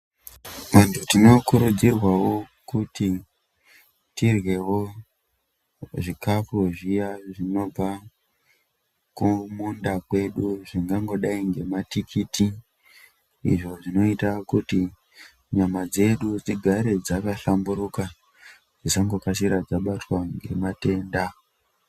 Antu tinokurudzirwawo kuti tiryewo zvikafu zviya zvinobva kumunda kwedu zvingangodai ngematikiti izvo zvinoita kuti nyama dzedu dzigare dzakahlamburuka dzisangokasira dzakabatwa ngematenda.